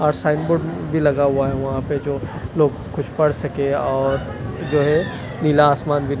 और sign board भी लगा हुआ है वहां पे जो लोग कुछ पढ़ सके और जो है नीला आसमान भी--